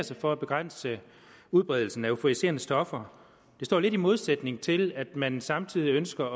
sig for at begrænse udbredelsen af euforiserende stoffer det står lidt i modsætning til at man samtidig ønsker